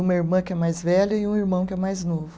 Uma irmã que é mais velha e um irmão que é mais novo.